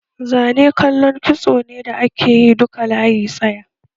Zane kallan kitso ne da ake yi duka layi tsaya